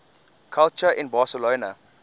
culture in barcelona